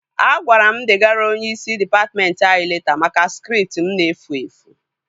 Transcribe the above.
A gwara m degara onyeisi dịpatmentị anyị leta maka skript m na-efu efu